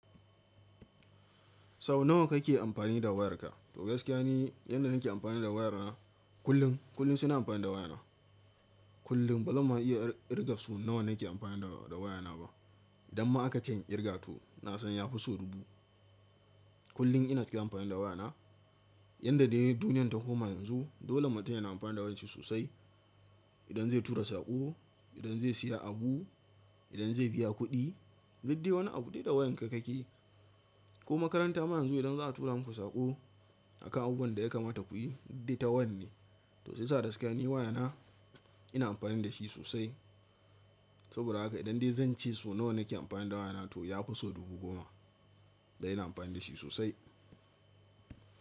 Sau nawa kake amfani da wayarka? To gaskiya ne, yanda nake amfani da wayana kullum, kullum suna amfani da wayana. Kullum bazama iya kirga su nawa nake amfani da wayana ba. Idan ma aka ce in kirga to na san ya fi sau dubu. Kullum ina ciki amfani da wayana. Yanda dai duniyar ta koma yanzu dole mutum yana amfani da wayar shi sosai. Idan zai tura saƙo, idan zai siya abu, idan zai biya kuɗi, gaddiya wani abu dai da wayan ka kake. Ko makaranta ma yanzu idan za a tura muku saƙo akan abubuwan da ya kamata ku yi dai ta waya ne. To sai sa gaskiya ne wayana ina amfani da shi sosai. Saboda haka idan dai zan ce so nawa nake amfani da wayana to ya fi sau dubu goma. Da ina amfani da shi sosai.